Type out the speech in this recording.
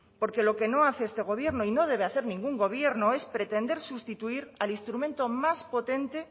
porque lo que no hace este gobierno y no debe hacer ningún gobierno es pretender sustituir al instrumento más potente